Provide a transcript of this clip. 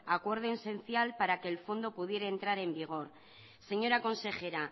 acuerdo esencial para que el fondo pudiera entrar en vigor señora consejera